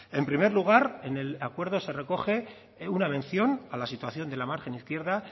en primer lugar en el acuerdo se recoge una mención a la situación de la margen izquierda